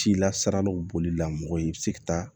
Cilasiralaw bolila mɔgɔ i bɛ se ka taa